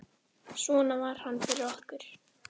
Svona var hann fyrir okkur.